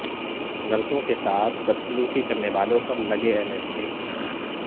نرسو ںکے ساتھ بدسلوکی کرنے والوں پر لگے این ایس اے